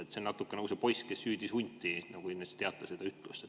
See on natuke nagu see poiss, kes hüüdis hunti – kindlasti teate seda ütlust.